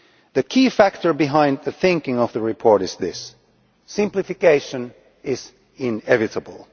The key factor behind the thinking of the report is this simplification is inevitable.